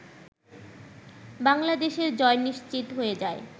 বাংলাদেশের জয় নিশ্চিত হয়ে যায়